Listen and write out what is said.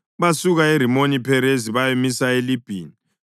Basuka eRimoni-Pherezi bayamisa eLibhina.